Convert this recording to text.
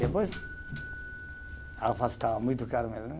Depois, a alface estava muito cara mesmo, né?